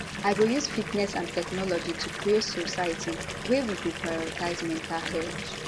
i go use fitness and technology to create society wia we go prioritize mental health